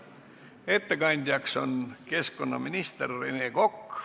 Ettekandja on keskkonnaminister Rene Kokk.